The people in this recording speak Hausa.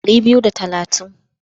Ɗari biyu da talatin.